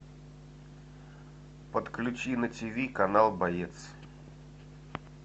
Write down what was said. подключи на тв канал боец